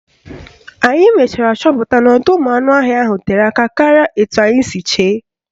Anyị mechara chọpụta n'ọdọụmụanụọhịa ahụ tere aka karịa etu anyị siri chee